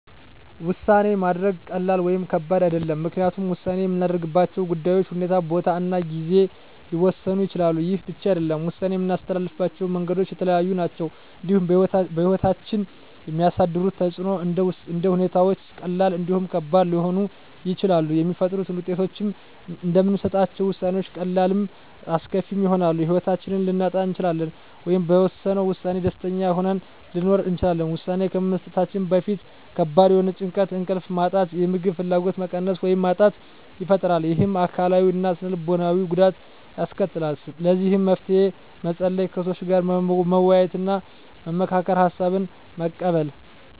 ውሳኔ ማድረግ ቀላል ወይም ከባድ አይደለም ምክንያቱም ውሳኔ የምናደርግባቸው ጉዳዮች ሁኔታ ቦታ እና ጊዜ ሊወሰኑት ይችላሉ ይህ ብቻ አይደለም ውሳኔ የምናስተላልፍበት መንገዶች የተለያዩ ናቸው እንዲሁም በህይወታችን የሚያሳድሩት ተፅእኖም እንደ ሁኔታዎች ቀላልም እንዲሁም ከባድ ሊሆኑ ይችላሉ የሚፈጥሩት ውጤቶችም እንደምንሰጣቸው ውሳኔዎች ቀላልም አስከፊም ይሆናል የህይወታችንን ልናጣ እንችላለን ወይም በወሰነው ውሳኔ ደስተኛ ሆነን ልንኖር እንችላለን ውሳኔ ከመስጠታችን በፊት ከባድ የሆነ ጭንቀት እንቅልፍ ማጣት የምግብ ፍላጎት መቀነስ ወይም ማጣት ይፈጥራል ይህም አካላዊ እና ስነ ልቦናዊ ጉዳት ያስከትላል ለዚህ መፍትሄ መፀለይ ከሰዎች ጋር መወያየትና መመካከር ሀሳብን መቀበል